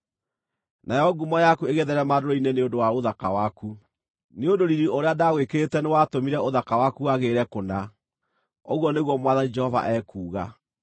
Nayo ngumo yaku ĩgĩtheerema ndũrĩrĩ-inĩ nĩ ũndũ wa ũthaka waku, nĩ ũndũ riiri ũrĩa ndaagwĩkĩrĩte nĩwatũmire ũthaka waku wagĩrĩre kũna, ũguo nĩguo Mwathani Jehova ekuuga.